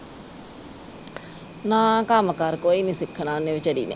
ਨਾ ਕੰਮ ਕਾਰ ਕੋਈ ਨਹੀਂ ਸਿੱਖਣਾ ਓਹਨੇ ਵਿਚਾਰੀ ਨੇ